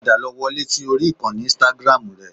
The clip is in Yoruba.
Padà lọ wọlé sí orí ìkànnì Instagram rẹ